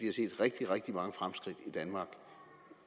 har set rigtig rigtig mange fremskridt